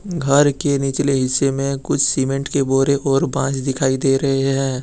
घर के निचले हिस्से में कुछ सीमेंट के बोरे और बास दिखाई दे रहे हैं।